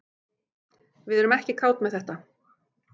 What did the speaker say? Við erum ekki kát með þetta